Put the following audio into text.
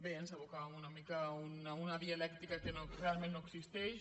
bé ens aboca una mica a una dialèctica que real ment no existeix